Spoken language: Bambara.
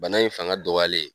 Bana in fanga dɔgɔyalen